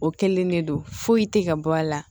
O kɛlen de don foyi te ka bɔ a la